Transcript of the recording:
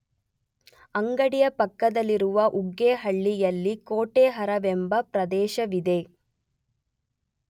ಅಂಗಡಿಯ ಪಕ್ಕದಲ್ಲಿರುವ ಉಗ್ಗೇಹಳ್ಳಿಯಲ್ಲಿ ಕೋಟೆಹರವೆಂಬ ಪ್ರದೇಶವಿದೆ.